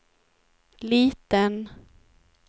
liten